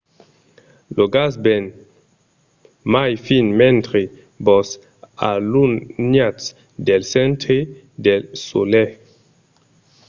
lo gas ven mai fin mentre vos alunhatz del centre del solelh